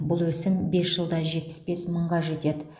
бұл өсім бес жылда жетпіс бес мыңға жетеді